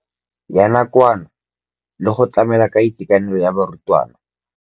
Ya nakwana le go tlamela go itekanela ga barutwana.